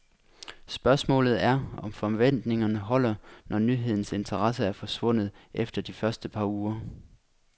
Spørgsmålet er, om forventningerne holder, når nyhedens interesse er forsvundet efter de første par uger.